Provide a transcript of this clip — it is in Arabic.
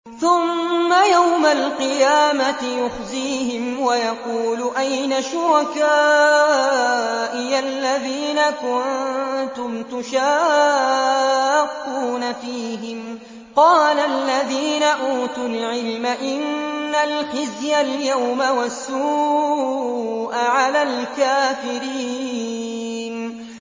ثُمَّ يَوْمَ الْقِيَامَةِ يُخْزِيهِمْ وَيَقُولُ أَيْنَ شُرَكَائِيَ الَّذِينَ كُنتُمْ تُشَاقُّونَ فِيهِمْ ۚ قَالَ الَّذِينَ أُوتُوا الْعِلْمَ إِنَّ الْخِزْيَ الْيَوْمَ وَالسُّوءَ عَلَى الْكَافِرِينَ